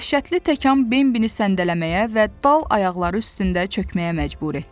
Dəhşətli təkən Bembini səndələməyə və dal ayaqları üstündə çökməyə məcbur etdi.